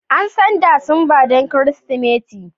An san Disamba don Kirsimeti.